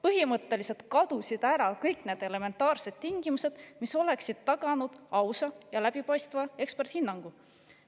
Põhimõtteliselt kadusid ära kõik need elementaarsed tingimused, mis oleksid taganud ausa ja läbipaistva eksperthinnangu.